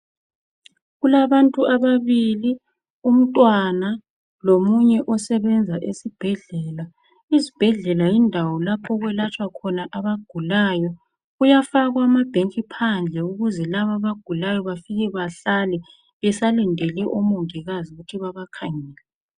Kulabantu ababili umntwana lomunye osebenza esibhedlela. IZibhedlela yindawo lapho okwelatshwa khona abagulayo, kuyafakwa amabhentshi phandle ukuze laba abagulayo bafike behlale besalindelele oMongikazi ukuthi babakhangele.